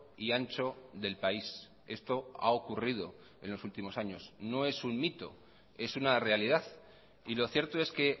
y ancho del país esto ha ocurrido en los últimos años noes un mito es una realidad y lo cierto es que